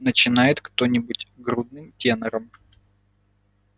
начинает кто-нибудь грудным тенором